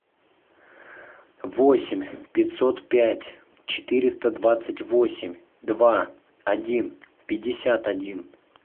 восемь пятьсот пять четыреста двадцать восемь два один пятьдесят один